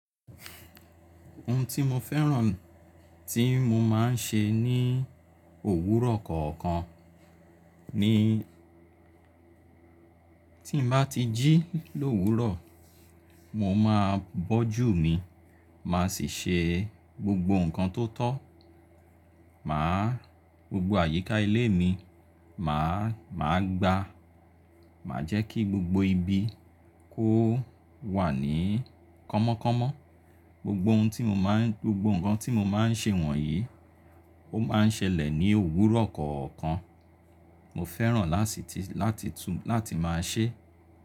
Ohun tí mo fẹ́ràn tí mo máa ń ṣe ní òwúrọ̀ kọ̀ọ̀kan ni tí n bá ti jí l’òwúrọ̀, mo máa bọ́jù mi, màá sì ṣe gbogbo nǹkan tó tọ́, màá gbogbo àyíká ilé mi, màá, màá gba, màá jẹ́ kí gbogbo ibi kó wà ní kọ́mọ́kọ́mọ́. Gbogbo ohun tí mo máa ń, gbogbo nǹkan tí mo máa ń ṣe wọ̀nyí ó máa ń ṣẹlẹ̀ ní òwúrọ̀ kọ̀ọ̀kan. Mo fẹ́ràn lásìtì láti tú, láti máa ṣe.